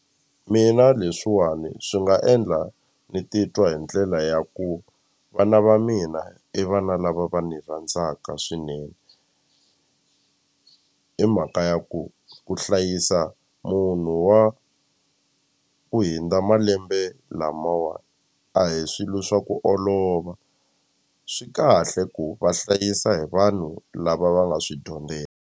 Mina leswiwani swi nga endla ni titwa hi ndlela ya ku vana va mina i vana lava va ni rhandzaka swinene hi mhaka ya ku ku hlaya yisa munhu wa ku hundza malembe lamawani a hi swilo swa ku olova swi kahle ku va hlayisa hi vanhu lava va nga swi dyondzela.